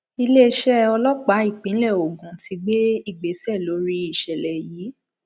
iléeṣẹ ọlọpàá ìpínlẹ ogun ti gbé ìgbésẹ lórí ìṣẹlẹ yìí